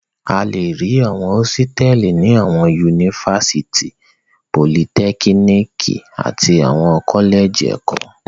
A le rí àwọn hósítẹ́ẹ́lì ní àwọn yunifásítì, politẹ́kíníkì àti ní àwọn kọ́lẹ́jì ẹ̀kọ́.